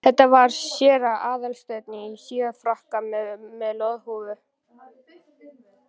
Þetta var séra Aðal steinn, í síðfrakka og með loðhúfu.